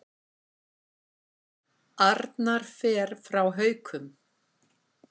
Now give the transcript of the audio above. Arnar fer frá Haukum